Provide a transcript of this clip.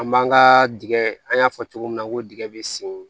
An b'an ka dingɛ an y'a fɔ cogo min na ko digɛn bɛ sen